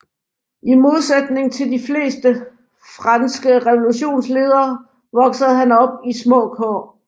I modsætning til de fleste franske revolutionsledere voksede han op i små kår